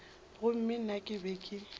gomme nna ke be ke